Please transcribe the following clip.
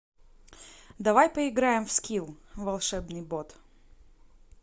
давай поиграем в скилл волшебный бот